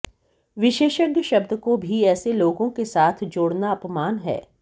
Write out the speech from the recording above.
विशेषज्ञ शब्द को भी ऐसे लोगों के साथ जोड़ना अपमान है